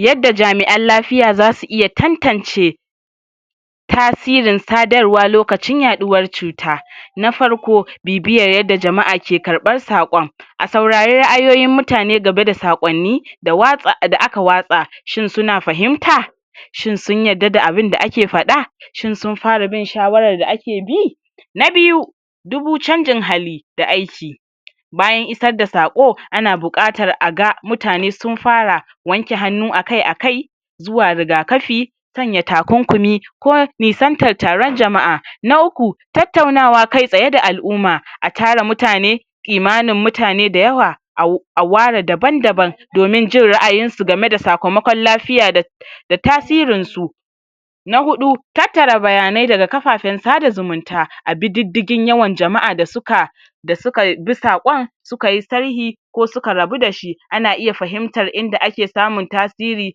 Yadda jami'an lafiya za su iya tan-tance tasirin sadarwa lokacin yaɗuwar cuta. Na farko bibiyar yadda jama'a ke karɓar saƙon. A saurari ra'ayoyin mutane game da saƙonni da watsa da aka watsa, shin su na fahimta, shin sun yadda da abinda ake faɗa, shin sun fara bin shawarar da ake bi. Na biyu dubu canjin halin da aiki bayan isar da saƙo, ana buƙatar a ga mutane sun fara wanke hannu akai-akai, zuwa rigakafi, sanya takunkumi, ko nisantar taron jama'a. Na uku tattaunawa kai-tsaye da al'umma. A tara mutane, kimanin mutane da yawa au aware daban-daban domin jin ra'ayin su game da sakamakon lafiya da da tasirinsu. Na huɗu tattara bayanai daga kafafen sada zumunta. A bididdigin yawan jama'a da suka da suka bi saƙon, suka yi sharhi ko suka rabu da shi, ana iya fahimtar inda ake samun tasiri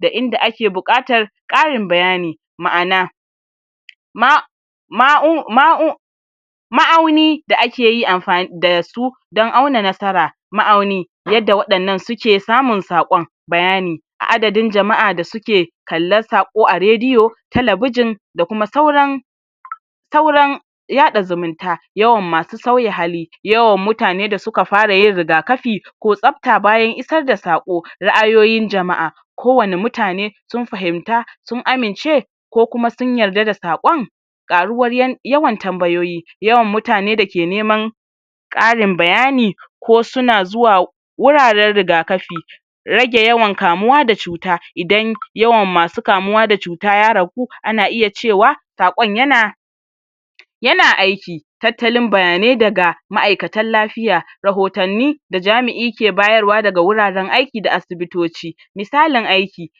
da inda ake buƙatar ƙarin bayani. Ma'ana ma ma'u ma'u ma'auni da ake yi amfa da su don auna nasara. Ma'auni yadda waɗannan suke samun saƙon bayani a adadin jama'a da suke kalla saƙo a rediyo, talabijin da kuma sauran sauran yaɗa zumunta. Yawan masu sauya hali yawan mutane da suka fara yin rigakafi ko tsafta bayan isar da saƙo. Ra'ayoyin jama'a ko wane mutane sun fahimta, sun amince ko kuma sun yarda da saƙon ƙaruwar yan yawan tambayoyi, yawan mutane da ke neman ƙarin bayani, ko su na zuwa wuraren rigakafi. Rage yawan kamuwa da cuta, idan yawan masu kamuwa da cuta ya ragu, ana iya cewa saƙon ya na ya na aiki. Tattalin bayanai daga ma'aikatan lafiya. Rahotanni da jami'i ke bayarwa daga wuraren aiki da sibitoci. Misalin aiki,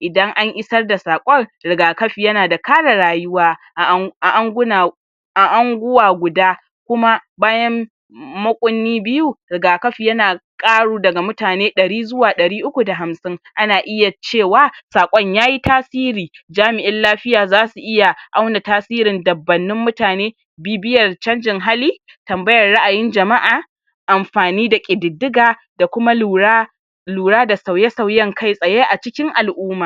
idan an isar da saƙon rigakafi ya na da kare rayuwa a an a anguna a anguwa guda, kuma bayan mukunni biyu rigakafi ya na ƙaru daga mutane ɗari zuwa ɗari uku da hamsin. Ana iya cewa saƙon yayi tasiri. Jami'in lafiya za su iya auna tasirin dabbannin mutane, bibiyar canjin hali, tambayar ra'ayin jama'a, amfani da ƙididdiga da kuma lura lura da sauye-sauyen kai-tsaye a cikin al'umma.